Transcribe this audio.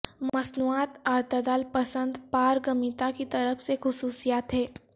مصنوعات اعتدال پسند پارگمیتا کی طرف سے خصوصیات ہیں